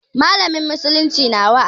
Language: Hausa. Mallamin musulunci na wa'azi.